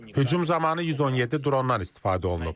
Hücum zamanı 117 drondan istifadə olunub.